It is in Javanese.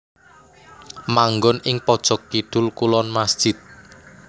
Manggon ing pojok kidul kulon masjid